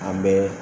An bɛ